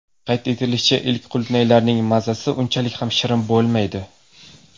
Qayd etilishicha, ilk qulupnaylarning mazasi unchalik ham shirin bo‘lmaydi.